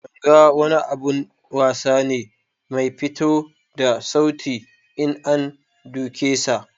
Ganga wani abun wasa ne Mai fito da sauti in an duke sa.